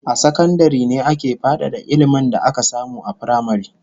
A sakandare ne ake fadada ilmin da aka samu a firamare